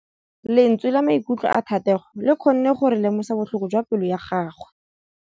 Lentswe la maikutlo a Thategô le kgonne gore re lemosa botlhoko jwa pelô ya gagwe.